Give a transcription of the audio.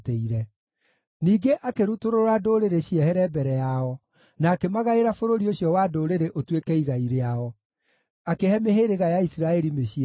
Ningĩ akĩrutũrũra ndũrĩrĩ ciehere mbere yao, na akĩmagaĩra bũrũri ũcio wa ndũrĩrĩ ũtuĩke igai rĩao; akĩhe mĩhĩrĩga ya Isiraeli mĩciĩ yao.